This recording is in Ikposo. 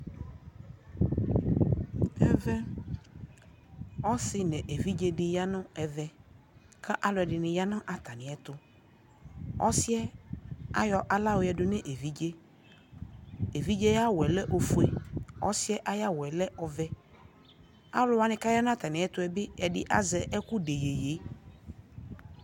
ɛvɛ ɔsii nʋ ɛvidzɛ di yanʋɛvɛ kʋ alʋɛdini yanʋ atami ɛtʋ, ɔsiiɛ ayɔ ala yɔ yɛdʋ nʋ ɛvidzɛ, ɛvidzɛ ayi awʋɛ lɛ ɔƒʋɛ, ɔsiiɛ ayi awʋɛ lɛ ɔvɛ, alʋwa kʋ aya nʋ atami ɛtʋɛ ɛdi azɛɛkʋdɛ yɛyɛ